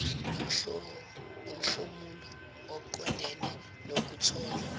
lomhlomulo oqondene nokuthola